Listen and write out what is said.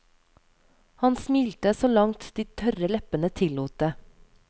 Han smilte så langt de tørre leppene tillot det.